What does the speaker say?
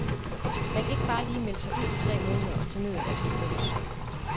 Man kan ikke bare lige melde sig ud i tre måneder og tage ned og være skibums.